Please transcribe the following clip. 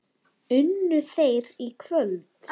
Unnu þeir í kvöld?